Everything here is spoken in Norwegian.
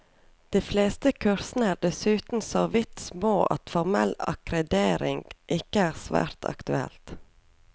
De fleste kursene er dessuten såvidt små at formell akkreditering ikke er svært aktuelt.